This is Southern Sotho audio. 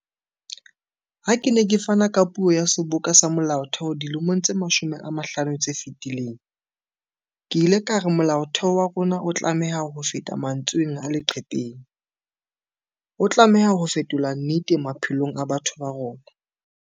Ha ke ne ke fana ka puo ya Seboka sa Molaotheo dilemong tse 25 tse fetileng, ke ile ka re Molaotheo wa rona o tlameha ho ba hofeta mantsweng a leqhepeng, o tlameha ho fetolwa nnete maphelong a batho ba rona.